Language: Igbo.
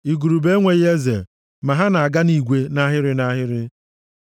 Igurube enweghị eze, ma ha na-aga nʼigwe nʼahịrị nʼahịrị.